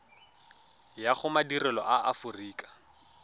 ya go madirelo a aforika